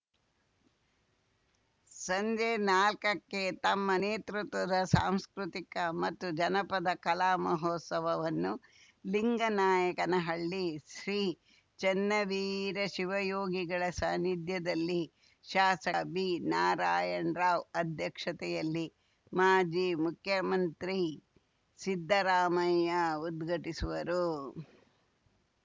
ಸಂಜೆ ನಾಲ್ಕಕ್ಕೆ ತಮ್ಮ ನೇತೃತ್ವದ ಸಾಂಸ್ಕೃತಿಕ ಮತ್ತು ಜನಪದ ಕಲಾ ಮಹೋತ್ಸವವನ್ನು ಲಿಂಗನಾಯಕನಹಳ್ಳಿ ಶ್ರೀ ಚನ್ನವೀರ ಶಿವಯೋಗಿಗಳ ಸಾನಿಧ್ಯದಲ್ಲಿ ಶಾಸಕ ಬಿನಾರಾಯಣರಾವ್‌ ಅಧ್ಯಕ್ಷತೆಯಲ್ಲಿ ಮಾಜಿ ಮುಖ್ಯಮಂತ್ರಿ ಸಿದ್ದರಾಮಯ್ಯ ಉದ್ಘಾಟಿಸುವರು